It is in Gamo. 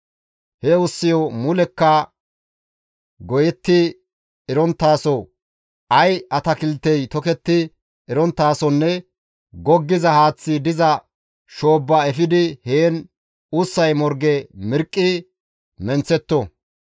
He ussiyo mulekka goyetti eronttaso, ay atakiltey toketti eronttasonne goggiza haaththi diza shoobba efidi heen ussay morge mirqqi menththetto.